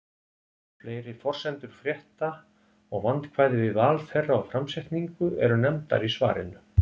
Fleiri forsendur frétta og vandkvæði við val þeirra og framsetningu eru nefndar í svarinu.